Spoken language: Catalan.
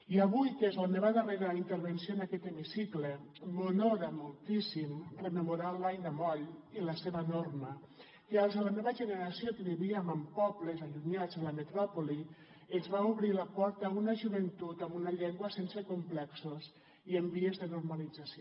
i avui que és la meva darrera intervenció en aquest hemicicle m’honora moltíssim rememorar l’aina moll i la seva norma que als de la meva generació que vivíem en pobles allunyats de la metròpoli ens va obrir la porta a una joventut amb una llengua sense complexos i en vies de normalització